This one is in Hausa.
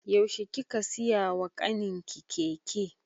Yaushe kika siya wa ƙanin ki keke?